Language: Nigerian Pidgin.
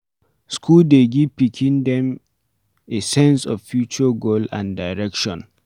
School dey give pikin them a sense of future goal and direction